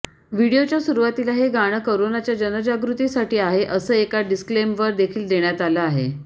व्हिडिओच्या सुरुवातीला हे गाणं करोनाच्या जनजागृतीसाठी आहे असं एक डिस्क्लेमर देखील देण्यात आलं आहे